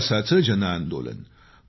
विकासाचं जनआंदोलन